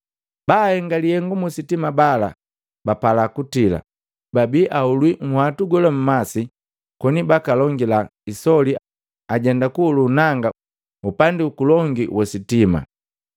Baahenga lihengu musitima bala bapala kutila, babi ahulwi nhwatu gola mmasi, koni bakalongila isoli ajenda kuhulu nanga upandi huku longi wili jojoma.